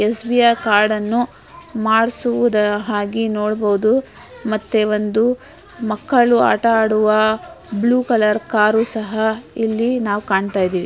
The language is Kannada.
ಎಸ್_ವಿ_ಆರ್ ಕಾರ್ಡ್ ಅನ್ನು ಮಾಡಿಸುವುದರ ಹಾಗೆ ನೋಡಬಹುದು ಮತ್ತೆ ಒಂದು ಮಕ್ಕಳು ಆಟ ಆಡುವ ಬ್ಲ್ಯೂ ಕಲರ್ ಕಾರು ಸಹ ಇಲ್ಲಿ ನಾವು ಕಾಣುತ್ತಾ ಇದ್ದೀವಿ